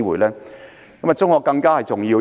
對我而言，中學更加重要。